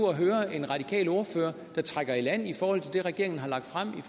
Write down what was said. at høre en radikal ordfører der trækker i land i forhold til det som regeringen har lagt frem